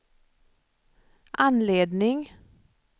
anledning